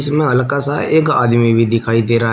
इसमें हल्का सा एक आदमी भी दिखाई दे रहा है।